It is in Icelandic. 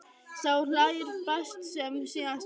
Sá hlær best sem síðast hlær!